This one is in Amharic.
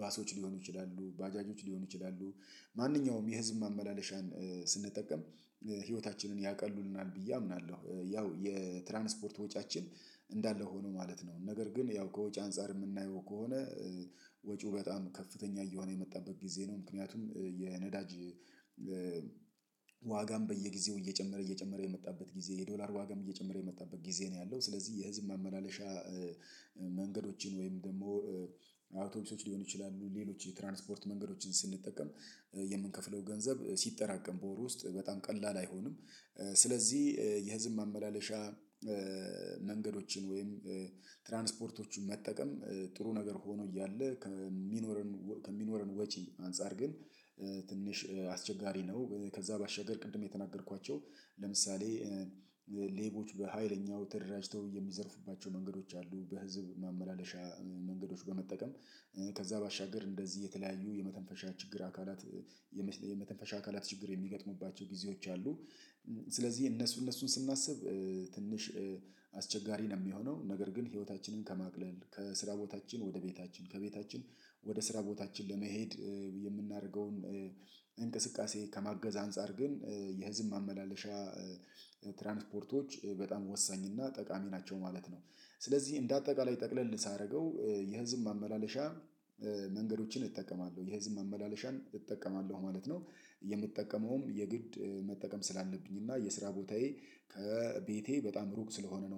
ባሶች ሊሆኑ ይችላሉ ባጃጆች ሊሆኑ ይችላሉ። ማንኛውም የህዝብ ማመላለሻን ስንጠቀም ህይወታችንን ያቀሉልናል ብዬ አምናለሁ። ያው የትራንስፖርት ወጪያችን እንዳለ ሆኖ ማለት ነው ነገር ግን ያው ከወጪ አንፃር የምናየው ከሆነ ወጪው በጣም ከፍተኛ እየሆነ የመጣበት ጊዜ ነው። ምክንያቱም የነዳጅ ዋጋም በየጊዜው እየጨመረ እየጨመረ የመጣበት ጊዜ የዶላር ዋጋም እየጨመረ የመጣበት ጊዜ ነው ያለው። ስለዚህ የህዝብ መመላለሻ መንገዶችን ወይም ደግሞ አውቶቢሶች ሊሆኑ ይችላሉ ሌሎች የትራንስፖርት መንገዶችን ስንጠቀም የምንከፍለው ገንዘብ ሲጠራቀም በወር ውስጥ በጣም ቀላል አይሆንም። ስለዚህ የህዝብ ማመላለሻ መንገዶችን ወይም ትራንስፖርቶችን መጠቀም ጥሩ ነገር ሆኖ እያለ ከሚኖረን ከሚኖረን ወጪ አንፃር ግን ትንሽ አስቸጋሪ ነው። ከዛ ባሻገር ቅድም የተናገርኳቸው ለምሳሌ ሌቦች በሃይለኛው ተደራጅተው የሚዘርፉባቸው መንገዶች አሉ። በህዝብ ማመላለሻ መንገዶች በመጠቀም ከዛ ባሻገር እንደዚህ የተለያዩ የመተንፈሻ ችግር አካላት የመተንፈሻ አካላት ችግር የሚገጥሙባቸው ጊዜዎች አሉ። ስለዚህ እነሱ እነሱን ስናስብ ትንሽ አስቸጋሪ ነው የሚሆነው። ነገር ግን ህይወታችንን ከማቅለል ከስራ ቦታችን ወደ ቤታችን ከቤታችን ወደ ስራ ቦታችን ለመሄድ የምናደርገውን እንቅስቃሴ ከማገዝ አንፃር ግን የህዝብ ማመላለሻ ትራንስፖርቶች በጣም ወሳኝ እና ጠቃሚ ናቸው ማለት ነው። ስለዚህ እንደ አጠቃላይ ጠቅለል ሳደርገው የህዝብ ማመላለሻ መንገዶችን እጠቀማለሁ የህዝብ ማመላለሻን እጠቀማለሁ ማለት ነው። የምጠቀመውም የግድ መጠቀም ስላለብኝ እና የስራ ቦታዬ ከቤቴ በጣም ሩቅ ስለሆነ ነው